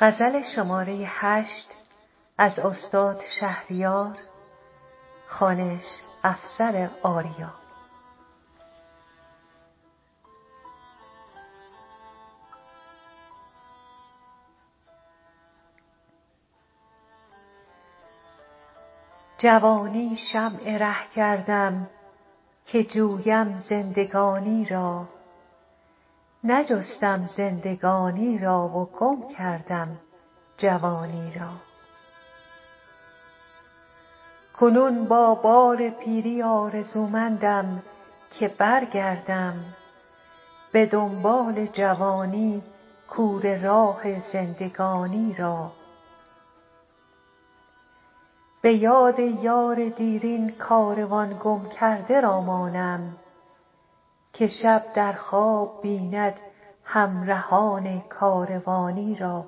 جوانی شمع ره کردم که جویم زندگانی را نجستم زندگانی را و گم کردم جوانی را کنون با بار پیری آرزومندم که برگردم به دنبال جوانی کوره راه زندگانی را به یاد یار دیرین کاروان گم کرده را مانم که شب در خواب بیند همرهان کاروانی را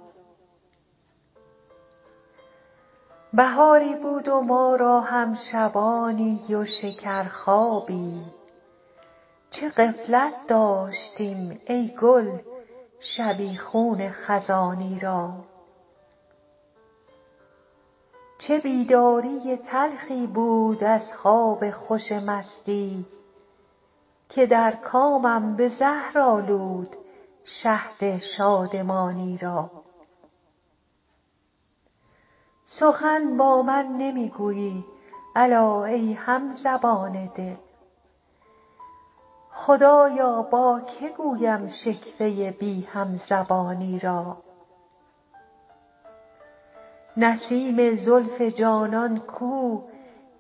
بهاری بود و ما را هم شبابی و شکر خوابی چه غفلت داشتیم ای گل شبیخون خزانی را چه بیداری تلخی بود از خواب خوش مستی که در کامم به زهر آلود شهد شادمانی را سخن با من نمی گویی الا ای همزبان دل خدایا با که گویم شکوه بی همزبانی را نسیم زلف جانان کو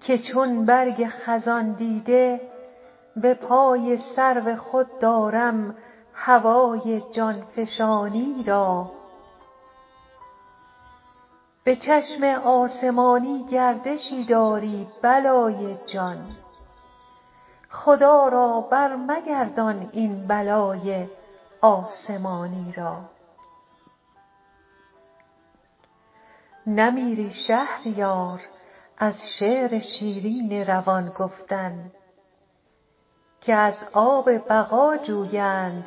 که چون برگ خزان دیده به پای سرو خود دارم هوای جانفشانی را به چشم آسمانی گردشی داری بلای جان خدا را بر مگردان این بلای آسمانی را نمیری شهریار از شعر شیرین روان گفتن که از آب بقا جویند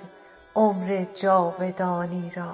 عمر جاودانی را